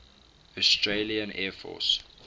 australian air force